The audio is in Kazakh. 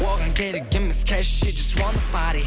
оған керек емес кешью диснови пари